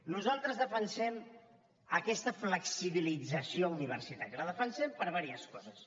nosaltres defensem aquesta flexibilització universitària la defensem per diverses coses